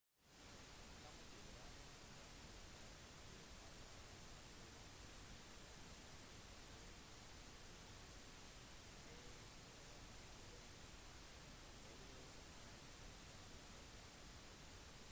tamaki drive-strender er på waitemata harbour i oppmarkedforstedene til mission bay og st heliers i sentral-auckland